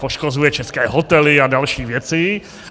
Poškozuje české hotely a další věci.